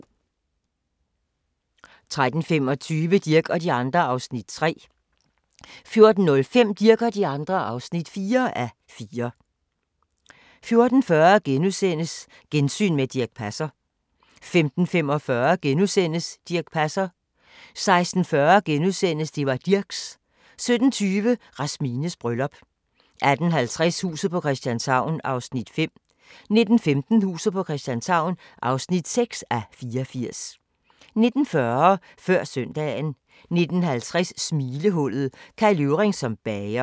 13:25: Dirch og de andre (3:4) 14:05: Dirch og de andre (4:4) 14:40: Gensyn med Dirch Passer * 15:45: Dirch Passer * 16:40: Det var Dirchs! * 17:20: Rasmines bryllup 18:50: Huset på Christianshavn (5:84) 19:15: Huset på Christianshavn (6:84) 19:40: Før søndagen 19:50: Smilehullet – Kai Løvring som bager